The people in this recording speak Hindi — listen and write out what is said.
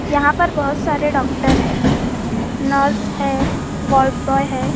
यहाँ पर बहुत सारे डॉक्टर हैं नर्स हैं वार्ड बॉय है।